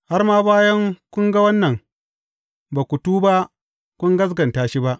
Har ma bayan kun ga wannan, ba ku tuba kun gaskata shi ba.